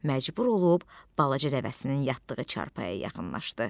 Məcbur olub balaca nəvəsinin yatdığı çarpayıya yaxınlaşdı.